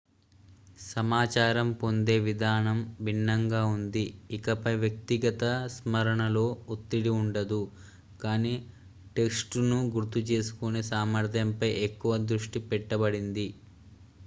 సమాచారం పొందే విధానం భిన్నంగా ఉంది ఇకపై వ్యక్తిగత స్మరణలో ఒత్తిడి ఉండదు కానీ టెక్స్టును గుర్తుచేసుకునే సామర్థ్యంపై ఎక్కువ దృష్టి పెట్టబడింది